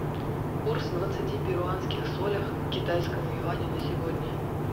курс двадцати перуанских солях к китайскому юаню на сегодня